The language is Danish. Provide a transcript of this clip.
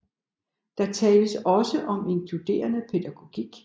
Der tales også om inkluderende pædagogik